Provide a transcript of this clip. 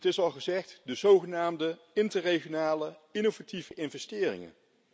Het is al gezegd de zogenaamde interregionale innovatieve investeringen.